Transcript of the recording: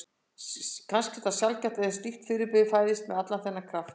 Kannski er það sjaldgæft að slíkt fyrirbrigði fæðist með allan þennan kraft.